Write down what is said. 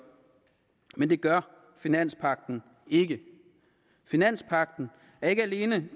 men det gør finanspagten ikke finanspagten er ikke alene